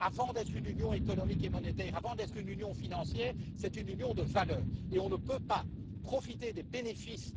Avant d'être une union économique et monétaire, avant d'être une union financière, c'est une union de valeurs, et on ne peut pas profiter des bénéfices